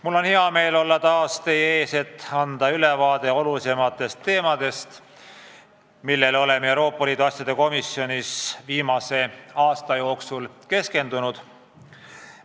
Mul on hea meel olla taas teie ees, et anda ülevaade olulisematest teemadest, millele oleme Euroopa Liidu asjade komisjonis viimase aasta jooksul keskendunud.